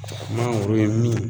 Mangoro in min